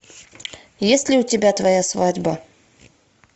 есть ли у тебя твоя свадьба